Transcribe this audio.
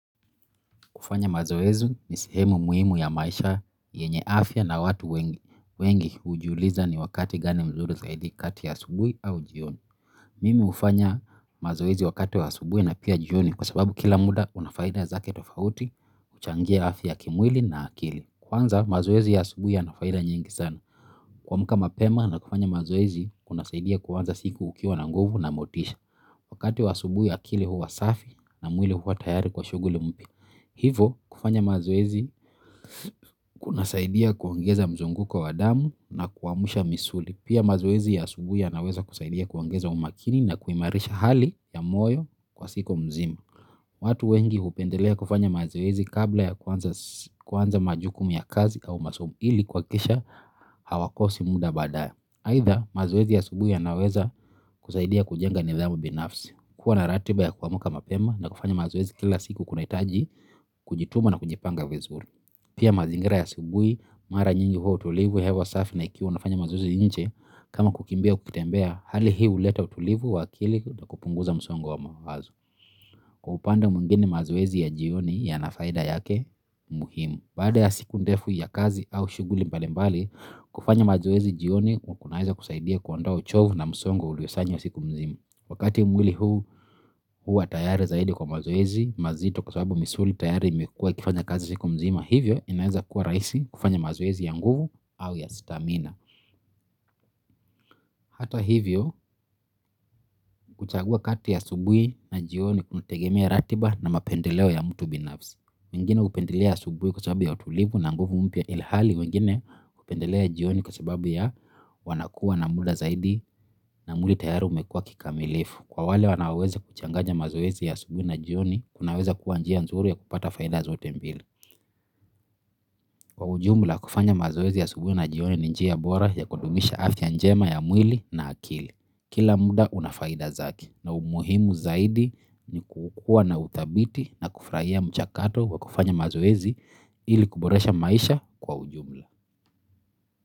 Kufanya mazoez ni sehemu muhimu ya maisha yenye afya na watu wengi ujiuliza ni wakati gani mzuri zaidi kati ya subuhi au jioni. Mimi ufanya mazoezi wakati wa asubuhi na pia jioni kwa sababu kila muda unafaida zake tofauti, uchangia afya kimwili na akili. Kwanza mazoezi ya asubuhi yanafaida nyingi sana. Kua mka ma pema na kufanya mazoezi kuna saidia kwanza siku ukiwa na nguvu na motisha. Wakati wa asubuhi ya akili huwa safi na mwili huwa tayari kwa shughuli mpya. Hivo kufanya mazoezi kunasaidia kuongeza mzunguko wa damu na kuamsha misuli. Pia mazoezi ya asubuhi ya naweza kusaidia kuongeza umakini na kuimarisha hali ya moyo kwa siku mzima. Watu wengi hupendelea kufanya mazoezi kabla ya kuanza majukumu ya kazi au masomo ili kuhakikisha hawakosi muda badae ahidha mazoezi ya asubuhi yanaweza kusaidia kujenga nidhamu binafsi, kuwa na ratiba ya kuamka mapema na kufanya mazuwezi kila siku kuna hitaji kujituma na kujipanga vizuri. Pia mazingira ya asubuhi, mara nyingi huwa utulivu hewa safi na ikiwa unafanya mazoezi nje kama kukimbia kukitembea hali hii huleta utulivu wa akili na kupunguza msongo wa mawazo. Kwa upande mwingine mazoezi ya jioni ya nafaida yake muhimu. Baada ya siku ndefu ya kazi au shughuli mbalimbali kufanya mazoezi jioni wakunahiza kusaidia kuondoa uchovu na musongo uliosanyo siku mzima. Wakati umwili huu huu atayari zaidi kwa mazoezi mazito kwasababu misuli tayari mekua kifanya kazi siku mzima. Hivyo inaweza kuwa rahisi kufanya mazoezi ya nguvu au ya stamina. Hata hivyo kuchagua kati ya asubuhi na jioni kunategemea ratiba na mapendeleo ya mtu binafsi. Mingine upendelea asubuhi kwa sababu ya utulivu na nguvu mpya ilhali. Mingine upendelea jioni kwa sababu ya wanakuwa na muda zaidi na mwili tayari umekuwa kikamilifu. Kwa wale wanaweze kuchanganya mazoezi ya asubuhi na jioni, kunaweza kuwa njia nzuri ya kupata faida zaotembili. Kwa ujumla kufanya mazoezi ya asubuhi na jioni ni njia bora ya kudumisha afya njema ya mwili na akili. Kila muda unafaida zake na umuhimu zaidi ni kukua na uthabiti na kufurahia mchakato kwa kufanya mazoezi ili kuboresha maisha kwa ujumla.